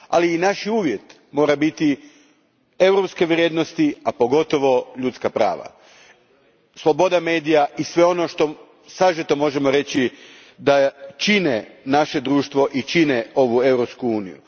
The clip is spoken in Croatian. Ali, naš uvjet moraju biti europske vrijednosti, a pogotovo ljudska prava, sloboda medija i sve ono što sažeto možemo reći da čine naše društvo i čine ovu Europsku uniju.